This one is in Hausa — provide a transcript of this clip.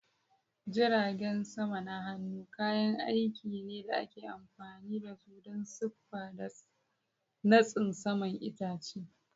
Jiragen sama na hannu kayan aiki ne da ake amfani da su don siffa da santsin saman itace.